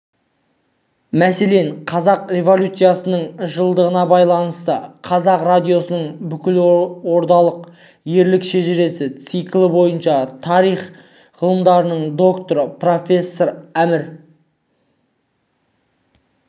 мәселен қазан революциясының жылдығына байланысты қазақ радиосының бүкілодақтық ерлік шежіресі циклі бойынша тарих ғылымының докторы профессор әмір